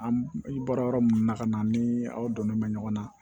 An i bɔra yɔrɔ min na ka na ni aw donnen mɛ ɲɔgɔn na